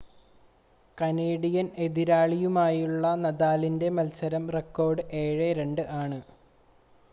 Canadian എതിരാളിയുമായുള്ള നദാലിൻ്റെ മത്സര റെക്കോർഡ് 7 2 ആണ്